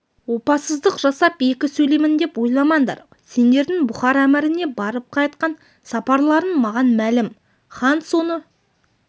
опасыздық жасап екі сөйлеймін деп ойламаңдар сендердің бұхар әміріне барып қайтқан сапарларың маған мәлім хан соны